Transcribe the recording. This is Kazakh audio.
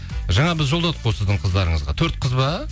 жаңа біз жолдадық қой сіздің қыздарыңызға төрт қыз ба